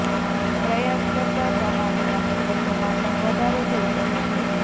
પ્રયાસ કરતા કમાણીના સ્ત્રોતોમાં પણ વધારો થઈ શકે છે